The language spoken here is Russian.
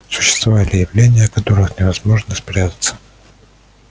существовали явления от которых невозможно спрятаться